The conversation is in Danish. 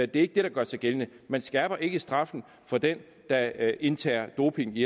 det er ikke det der gør sig gældende man skærper ikke straffen for den der indtager doping i